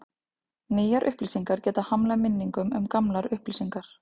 Nýjar upplýsingar geta hamlað minningum um gamlar upplýsingar.